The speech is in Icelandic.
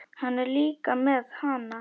Hann er líka með HANA!